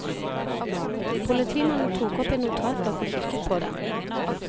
Politimannen tok opp en notatblokk og kikket på den.